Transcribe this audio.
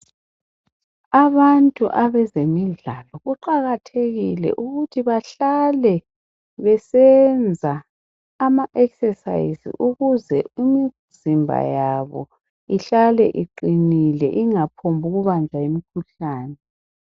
Abantu abezemidlalo kuqakathekile ukuthi bahlale besenza ama exercise ukuze imzimba yabo ihlale iqinile ingaphongubanjwa yimikhuhlane.